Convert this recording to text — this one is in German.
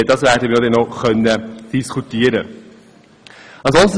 Darüber werden wir noch diskutieren können.